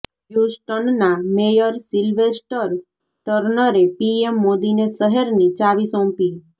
હ્યૂસ્ટનના mayor Sylvester ટર્નરે PM મોદીને શહેરની ચાવી સોંપી